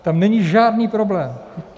Tam není žádný problém.